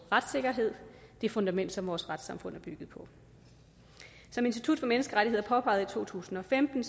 retssikkerheden det fundament som vores retssamfund er bygget på som institut for menneskerettigheder påpegede i to tusind og femten